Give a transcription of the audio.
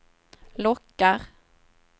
lockar